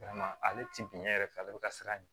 ale ti bin yɛrɛ fɛ ale be ka siran ɲ